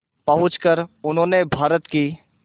पहुंचकर उन्होंने भारत की